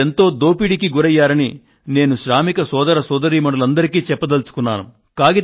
మీరెంతో దోపిడీకి గురయ్యారని శ్రామిక సోదర సోదరీమణులు అందరికీ నేను చెప్పదలుచుకున్నాను